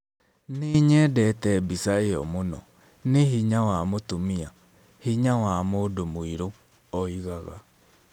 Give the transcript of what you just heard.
"Nĩ nyendete mbica ĩyo mũno, nĩ hinya wa mũtumia, hinya wa mũndũ mũirũ", oigaga.